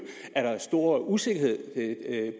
er der stor usikkerhed